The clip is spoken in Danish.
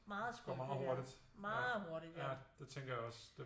Meget skrøbeligt ja meget hurtigt ja